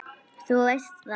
Þú veist það.